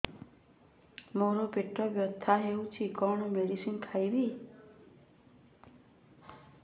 ମୋର ପେଟ ବ୍ୟଥା ହଉଚି କଣ ମେଡିସିନ ଖାଇବି